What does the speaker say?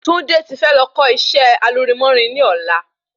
Tunde ti fẹ́ lọ kó isẹ́ alurinmórin ni ọ̀la